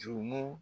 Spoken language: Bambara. Jurumu